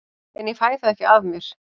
En ég fæ það ekki af mér.